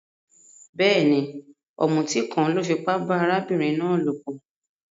Béèni, òmùtí kan lo fipá ba arábìnrin náà lòpò